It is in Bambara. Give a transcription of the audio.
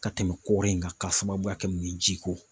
Ka tɛmɛ kɔɔri in kan k'a sababuya kɛ mun ye jiko.